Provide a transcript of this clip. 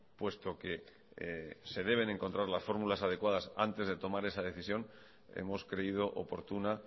puesto que se deben encontrar las fórmulas adecuadas antes de tomar esa decisión hemos creído oportuna